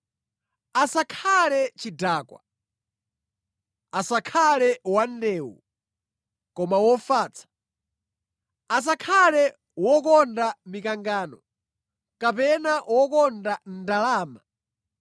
Asakhale chidakwa, asakhale wandewu, koma wofatsa, asakhale wokonda mikangano, kapena wokonda ndalama.